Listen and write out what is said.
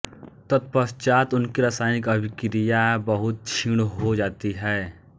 तत्पश्चात् उनकी रासायनिक अभिक्रिया बहुत क्षीण हो जाती है